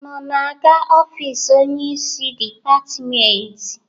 Unu na-aga ofisi onyeisi dịpatịmentị?